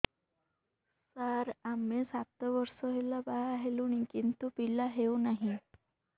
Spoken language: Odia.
ସାର ଆମେ ସାତ ବର୍ଷ ହେଲା ବାହା ହେଲୁଣି କିନ୍ତୁ ପିଲା ହେଉନାହିଁ